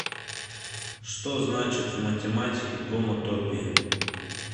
что значит в математике гомотопия